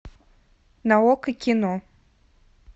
на окко кино